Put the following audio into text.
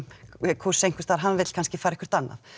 kúrs einhverstaðar hann vill kannski fara eitthvað annað